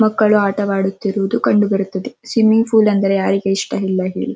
ಮಕ್ಕಳು ಅಟವಾಡುತಿರದು ಕಂಡುಬರುತ್ತವೆಸ್ವಿಮ್ಮಿಂಗ್ ಫೂಲ್ ಅಂದ್ರೆ ಯಾರಿಗ್ ಇಷ್ಟ ಇಲ್ಲ ಹೇಳಿ.